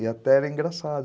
E até era engraçado.